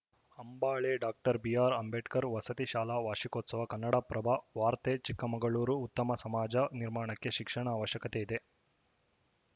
Ambale doctor B R Ambedkar ವಸತಿ ಶಾಲಾ ವಾರ್ಷಿಕೋತ್ಸವ ಕನ್ನಡಪ್ರಭ ವಾರ್ತೆ ಚಿಕ್ಕಮಗಳೂರು ಉತ್ತಮ ಸಮಾಜ ನಿರ್ಮಾಣಕ್ಕೆ ಶಿಕ್ಷಣ ಅವಶ್ಯಕತೆ ಇದೆ